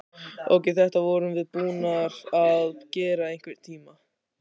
Ókei, þetta vorum við búnar að gera í einhvern tíma.